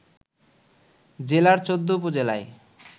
জেলার ১৪ উপজেলায়